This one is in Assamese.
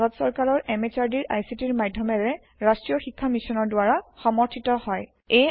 ই ভাৰত সৰকাৰৰ MHRDৰ ICTৰ মাধ্যমেৰে ৰাষ্ট্ৰীয় শীক্ষা মিছনৰ দ্ৱাৰা সমৰ্থিত হয়